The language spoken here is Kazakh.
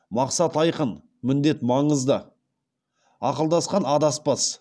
мақсат айқын міндет маңызды ақылдасқан адаспас